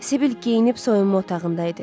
Sibil geyinib soyunma otağında idi.